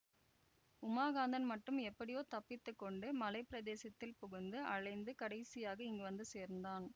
உமாகாந்தன் மட்டும் எப்படியோ தப்பித்து கொண்டு மலை பிரதேசத்தில் புகுந்து அலைந்து கடைசியாக இங்கு வந்து சேர்ந்தான்